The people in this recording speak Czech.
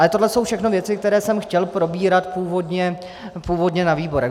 Ale tohle jsou všechno věci, které jsem chtěl probírat původně na výborech.